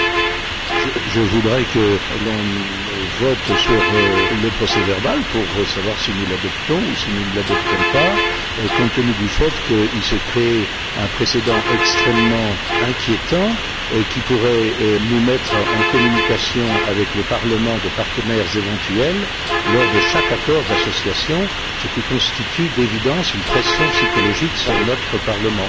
Monsieur le Président, je voudrais qu'on vote sur le procès verbal pour savoir si nous l'adoptons ou si nous ne l'adoptons pas, compte tenu du fait qu'il se crée un précédent extrêmement inquiétant, qui pourrait nous mettre en communication avec les parlements de partenaires éventuels lors de chaque accord d'association, ce qui constitue, d'évidence, une pression psychologique sur notre Parlement.